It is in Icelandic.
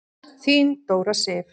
Þín Dóra Sif.